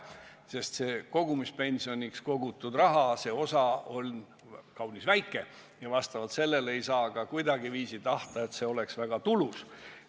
Nimelt, kogumispensionina kogutud rahasumma on olnud kaunis väike ja nii ei saa ka kuidagiviisi tahta, et see kogumisviis oleks väga tulus.